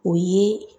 O ye